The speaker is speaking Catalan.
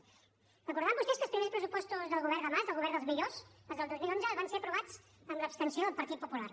deuen recordar vostès que els primers pressupostos del govern de mas del govern dels millors els del dos mil onze van ser aprovats amb l’abstenció del partit popular